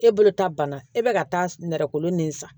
E bolo ta banna e bɛ ka taa nɛrɛ kolo nin san